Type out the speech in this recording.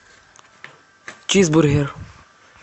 чизбургер